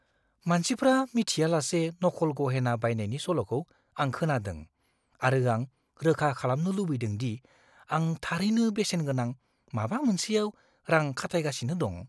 मानसिफ्रा मिथियाजासे नखल गहेना बायनायनि सल'खौ आं खोनादों, आरो आं रोखा खालामनो लुबैदों दि आं थारैनो बेसेनगोनां माबा मोनसेयाव रां खाथायगासिनो दं।